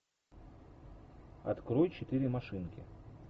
открой четыре машинки